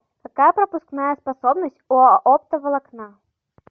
какая пропускная способность у оптоволокна